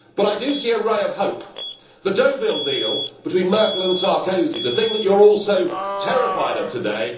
But I do see a ray of hope the Deauville deal between Merkel and Sarkozy, the thing that you are all so terrified of today.